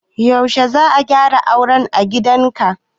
Yaushe za a dayra auren a gidanka?